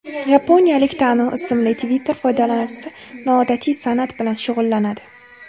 Yaponiyalik Tanu ismli Twitter foydalanuvchisi noodatiy san’at bilan shug‘ullanadi.